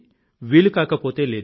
వీలుకాకపోతే లేదు